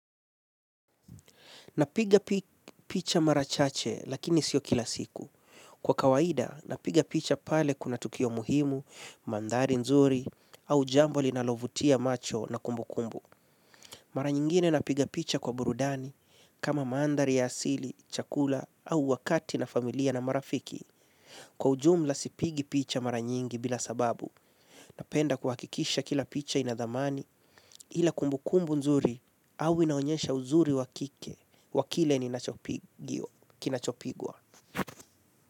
Napiga picha mara chache lakini sio kila siku. Kwa kawaida, napiga picha pale kuna tukio muhimu, mandhari nzuri, au jambo linalovutia macho na kumbukumbu. Mara nyingine napiga picha kwa burudani, kama mandhari ya asili, chakula, au wakati na familia na marafiki. Kwa ujumla sipigi picha mara nyingi bila sababu, napenda kuhakikisha kila picha ina thamani, ila kumbukumbu nzuri, au inaonyesha uzuri wa kike, wa kile ninachopigiwa. Kinachopigwa.